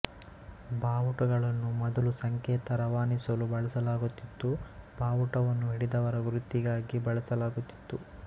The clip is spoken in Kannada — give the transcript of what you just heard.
ಬಾವುಟಗಳನ್ನು ಮೊದಲು ಸಂಕೇತ ರವಾನಿಸಲು ಬಳಸಲಾಗುತ್ತಿತ್ತು ಬಾವುಟವನ್ನು ಹಿಡಿದವರ ಗುರುತಿಗಾಗಿ ಬಳಸಲಾಗುತ್ತಿತ್ತು